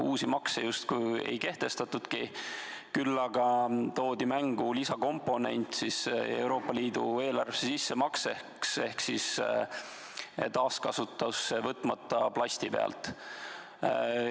Uusi makse justkui ei kehtestatudki, küll aga toodi mängu Euroopa Liidu eelarvesse sissemakse lisakomponent taaskasutusse võtmata plasti pealt.